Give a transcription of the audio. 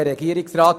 der SiK.